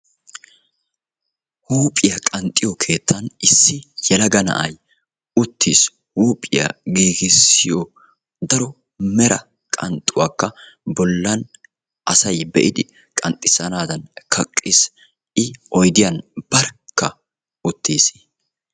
huuphiyaa qanxxiyo keettan issi yelaga na'ay uttiis. huuphiyaa qanxxiyo keettan asay qanxxana mala asaa naagiidi dees.